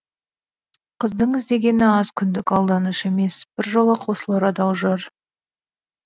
қыздың іздегені аз күндік алданыш емес біржола қосылар адал жар